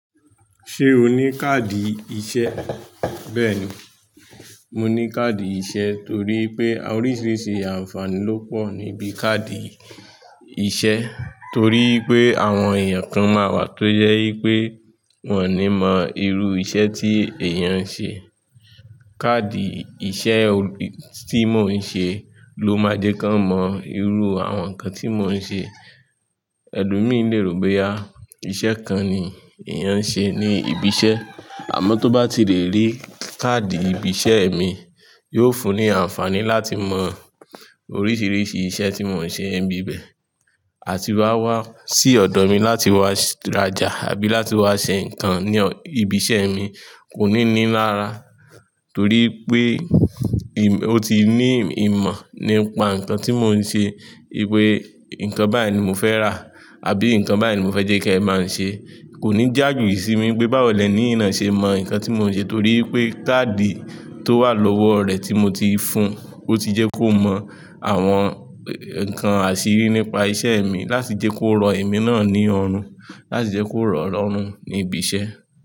Ṣé o ní káàdì iṣẹ́? Bẹ́ẹ̀ni, mo ní káàdì iṣẹ́ torí pé oríṣiríṣi àǹfààní ló pọ̀ níbi káàdì iṣẹ́ torí pé àwọn èèyàn kan máa wà tó jẹ́ wípé wọn ò ní mọ irú iṣẹ́ tí èèyàn ń ṣe. Kaadi ìṣe tí mo ń ṣe ló máa jẹ́ ká mọ irú àwọn nǹkan tí mo ń ṣe. Ẹ̀lomi lè rò pé iṣẹ́ kan ni èèyàn ń ṣe ní ibi iṣẹ́, àmọ́ tó bá ti lè rí káàdì ibi iṣẹ́ mi, yóò fún ní àǹfààní láti mọ oríṣiríṣi iṣẹ́ tí mo ń ṣe níbi ibẹ̀, àti wa wá sí ọ̀dọ̀ mi láti wá rajá àbí láti wá ṣe nǹkan ní ibi iṣẹ́ mi kò ní ní lára torí pé ó ti ní ìmọ̀ nípa nǹkan tí mo ń ṣe wípé nǹkan báyìí ni mo fẹ́ rà àbí nǹkan báyìí ni mo fẹ́ jẹ́ kí ẹ ba ń ṣe. Kò ní jájo sí mi pé báwo lẹ̀ní yii náa ṣe mọ nǹkan tí mo ń ṣe, torí pé káàdì tó wà lọ́wọ́ rẹ tí mo ti fún un, ó ti jẹ́ kó mọ àwọn nǹkan àṣírí nípa iṣẹ́ mi láti jẹ́ kó rọ ẹ̀mí náà ní ọ̀run, láti jẹ́ kó rọ lọ̀run ní ibi iṣẹ́.